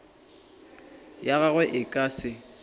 ya gagwe e ka se